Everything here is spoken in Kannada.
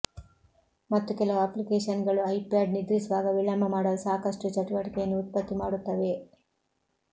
ಮತ್ತು ಕೆಲವು ಅಪ್ಲಿಕೇಶನ್ಗಳು ಐಪ್ಯಾಡ್ ನಿದ್ರಿಸುವಾಗ ವಿಳಂಬ ಮಾಡಲು ಸಾಕಷ್ಟು ಚಟುವಟಿಕೆಯನ್ನು ಉತ್ಪತ್ತಿ ಮಾಡುತ್ತವೆ